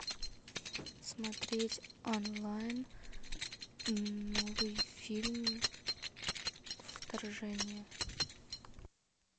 смотреть онлайн новый фильм вторжение